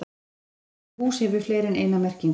Orðið hús hefur fleiri en eina merkingu.